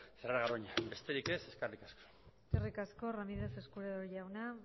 cerrar garoña besterik ez eskerrik asko eskerrik asko ramírez escudero jauna